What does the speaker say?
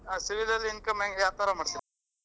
Civil ಅಲ್ಲಿ income ಹೆಂಗ ಯಾವ ತರಾ ಮಾಡ್ತೀರಾ?